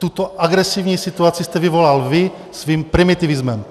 Tuto agresivní situaci jste vyvolal vy svým primitivismem.